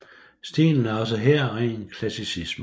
Stilen er også her ren klassicisme